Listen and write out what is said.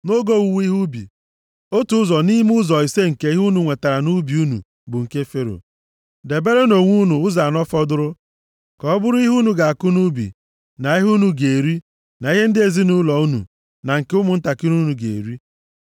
Nʼoge owuwe ihe ubi, otu ụzọ nʼime ụzọ ise nke ihe unu nwetara nʼubi unu bụ nke Fero. Deberenụ onwe unu ụzọ anọ fọdụrụ ka ọ bụrụ ihe unu ga-akụ nʼubi na ihe unu ga-eri na ihe ndị ezinaụlọ unu, na nke ụmụntakịrị unu ga-eri.”